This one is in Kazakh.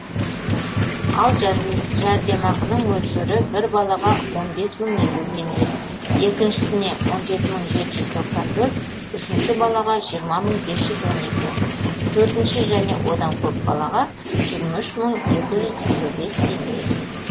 ал жәрдемақының мөлшері бір балаға он бес мың елу теңге екіншісіне он жеті мың жеті жүз тоқсан төрт үшінші балаға жиырма мың бес жүз он екі төртінші және одан көп балаға жиырма үш мың екі жүз елу бес теңге